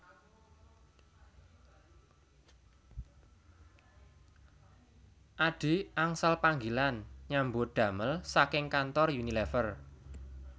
Adhi angsal panggilan nyambut damel saking kantor Unilever